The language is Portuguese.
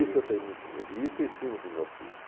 Isso eu tenho muito medo e isso eu ensino para os meus filhos.